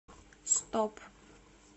стоп